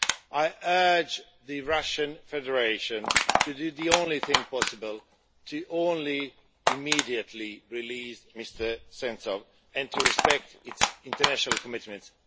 I urge the Russian Federation to do the only thing possible to immediately release Mr Sentsov and to respect its international commitments.